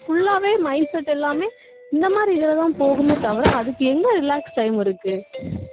full ஆவே mindset எல்லாமே இந்த மாதிரி இதுலதான் போகுமே தவிர அதுக்கு எங்க relax time இருக்கு